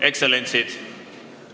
Ekstsellentsid!